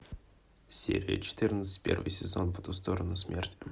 серия четырнадцать первый сезон по ту сторону смерти